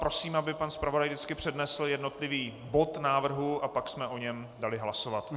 Prosím, aby pan zpravodaj vždycky přednesl jednotlivý bod návrhu a pak jsem o něm dali hlasovat.